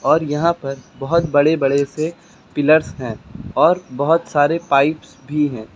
और यहां पर बहोत बड़े बड़े से पिलर्स हैं और बहुत सारे पाइप्स भी हैं।